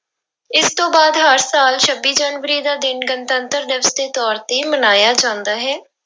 ਇਸ ਤੋਂ ਬਾਅਦ ਹਰ ਸਾਲ ਛੱਬੀ ਜਨਵਰੀ ਦਾ ਦਿਨ ਗਣਤੰਤਰ ਦਿਵਸ ਦੇ ਤੌਰ ਤੇ ਮਨਾਇਆ ਜਾਂਦਾ ਹੈ।